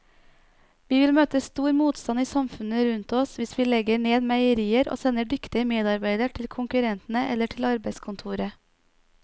Vi vil møte stor motstand i samfunnet rundt oss hvis vi legger ned meierier og sender dyktige medarbeidere til konkurrentene eller til arbeidskontoret.